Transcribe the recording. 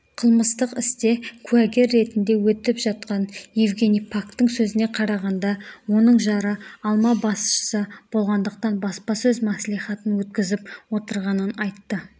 қылмыстық істе куәгер ретінде өтіп жатқан евгений пактың сөзіне қарағанда оның жары алма басшысы болғандықтан баспасөз мәслихатын өткізіп отырғанын айтты